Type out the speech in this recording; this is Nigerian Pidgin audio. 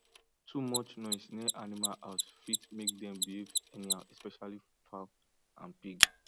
too much noise near animal house fit make dem behave anyhow especially fowl and and pig